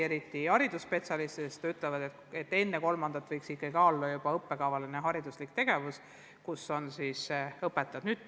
Eriti haridusspetsialistid ütlevad, et juba enne kolmandat eluaastat võiks ikka ka olla õppekavaline hariduslik tegevus, milleks on siis õpetajad.